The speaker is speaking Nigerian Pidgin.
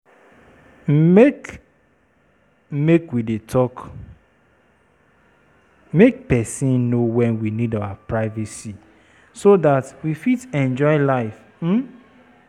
Make Make we dey talk make pesin know wen we need our privacy, so dat we fit enjoy life. um